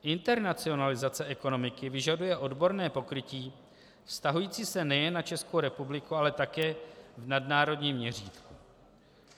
Internacionalizace ekonomiky vyžaduje odborné pokrytí vztahující se nejen na Českou republiku, ale také v nadnárodním měřítku.